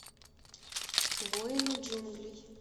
воины джунглей